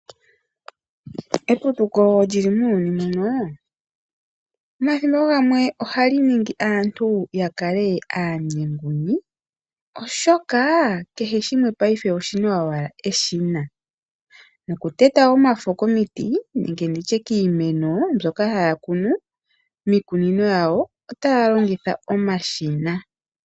Eputuko lyili muuyuni muno mathimbo oogamwe ohali ningi aantu yakale aanyenguni, oshoka kehe shimwe payife oshina owala eshina nokuteta omafo komiti nenge nditye kiimeno mbyoka haya kunu otayalongitha omashina.